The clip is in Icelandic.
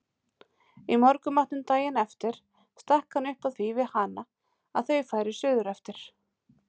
Í morgunmatnum daginn eftir stakk hann upp á því við hana að þau færu suðureftir.